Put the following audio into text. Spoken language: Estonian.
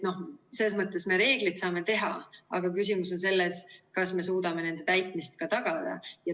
Selles mõttes me reeglid saame teha, aga küsimus on selles, kas me suudame nende täitmist ka tagada.